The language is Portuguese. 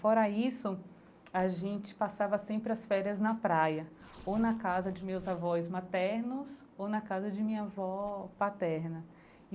Fora isso, a gente passava sempre as férias na praia, ou na casa de meus avós maternos, ou na casa de minha avó paterna.